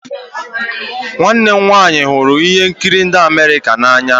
nwanne m nwanyị hụrụ ihe nkiri ndi America n'anya